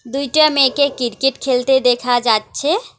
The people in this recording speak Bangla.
দুইটা মেয়েকে কিরকেট খেলতে দেখা যাচ্ছে।